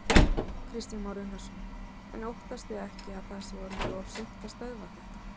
Kristján Már Unnarsson: En óttastu ekki að það sé orðið of seint að stöðva þetta?